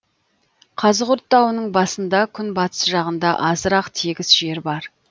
қазығұрт тауының басында күн батыс жағында азырақ тегіс жер бар